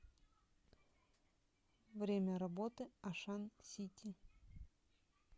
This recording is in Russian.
время работы ашан сити